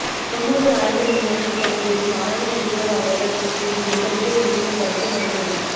செம்மொழி ஆய்வு நிறுவனத்தில் பணிபுரியும் அரணமுறுவல் அவர்கள் பேசியது எங்களுக்கே மிகவும் வருத்தம் அளித்தது